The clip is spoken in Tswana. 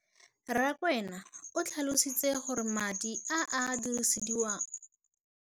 Rakwena o tlhalositse gore madi a a dirisediwang lenaane leno a okediwa ngwaga yo mongwe le yo mongwe go tsamaelana le